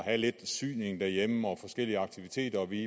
have lidt syning derhjemme og forskellige aktiviteter og vi